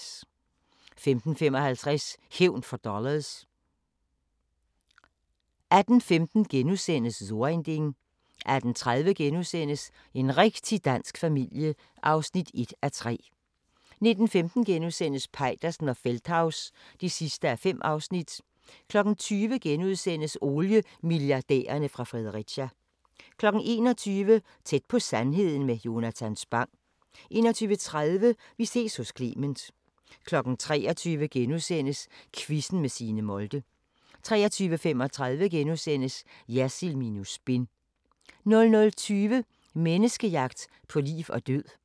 15:55: Hævn for dollars 18:15: So ein Ding * 18:30: En rigtig dansk familie (1:3)* 19:15: Peitersen og Feldthaus (5:5)* 20:00: Oliemilliardærerne fra Fredericia * 21:00: Tæt på sandheden med Jonatan Spang 21:30: Vi ses hos Clement 23:00: Quizzen med Signe Molde * 23:35: Jersild minus spin * 00:20: Menneskejagt på liv og død